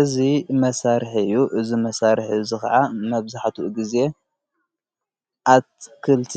እዚ መሳርሒ እዩ እዚ መሣርሒ እዚ ኸዓ መብዛሕትኡ ጊዜ ኣትክልቲ